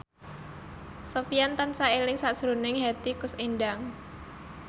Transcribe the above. Sofyan tansah eling sakjroning Hetty Koes Endang